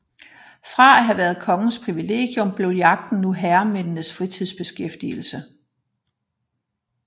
Fra at have været kongens privilegium blev jagten nu herremændenes fritidsbeskæftigelse